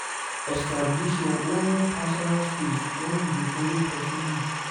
Establish your own personal space when you dey follow person live